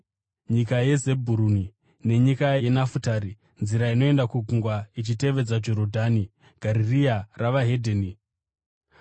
“Nyika yeZebhuruni nenyika yeNafutari, nzira inoenda kugungwa, ichitevedza Jorodhani, Garirea reveDzimwe Ndudzi,